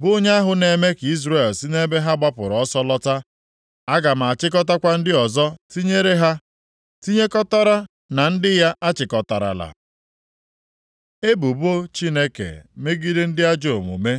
bụ onye ahụ na-eme ka Izrel si nʼebe ha gbapụrụ ọsọ lọta, “Aga m achịkọtakwa ndị ọzọ tinyere ha tinyekọtara na ndị ya achịkọtarala.” Ebubo Chineke megide ndị ajọọ omume